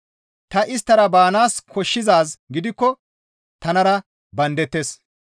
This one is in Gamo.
Ta isttara baanaas koshshizaaz gidikko tanara bandettes.